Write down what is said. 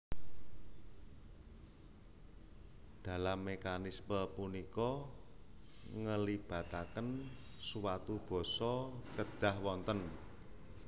Dalam mekanisme punika ngelibataken suatu basa kedhah wonten